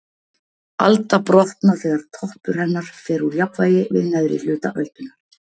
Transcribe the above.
Alda brotna þegar toppur hennar fer úr jafnvægi við neðri hluta öldunnar.